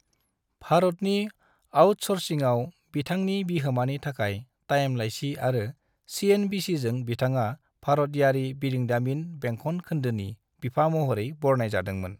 भारतनि आउटसोर्सिंगआव बिथांनि बिहोमानि थाखाय टाइम लाइसि आरो सी.एन.बी.सी. जों बिथाङा भारतयारि बिरोंदारिमिन बेंखन खोन्दोनि बिफा महरै बरनायजादोंमोन।